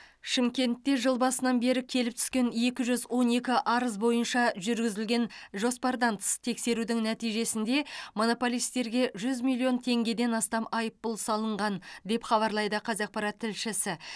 шымкентте жыл басынан бері келіп түскен екі жүз он екі арыз бойынша жүргізілген жоспардан тыс тексерудің нәтижесінде монополистерге жүз миллион теңгеден астам айыппұл салынған деп хабарлайды қазақпарат тілшісі